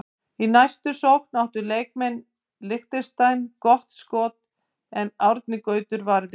Í næstu sókn áttu leikmenn Liechtenstein gott skoti en Árni Gautur varði.